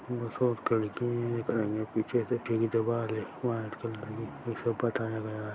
खिड़की पीछे से टी_वी क वायर वाइट कलर की इसको पोताया गया हैं।